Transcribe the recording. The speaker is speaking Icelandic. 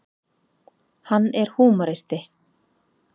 Hann er húmoristi.